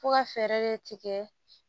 Fo ka fɛɛrɛ de tigɛ